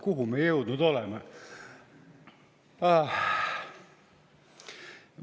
Kuhu me jõudnud oleme?!